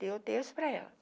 Deu o terço para ela.